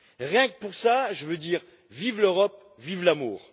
Rien que pour ça, je veux dire vive l'Europe, vive l'amour!